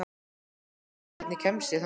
Marí, hvernig kemst ég þangað?